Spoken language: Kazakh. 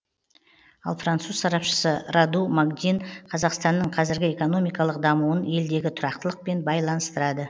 ал француз сарапшысы раду магдин қазақстанның қазіргі экономикалық дамуын елдегі тұрақтылықпен байланыстырады